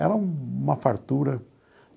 Era uma fartura.